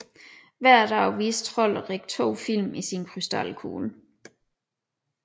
Hver dag viste Trolderik to film i sin krystalkugle